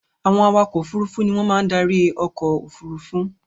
Àwọn awakọ̀ òfurufú ni wọ́n máa ń darí ọkọ̀-òfurufú.